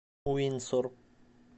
уинсор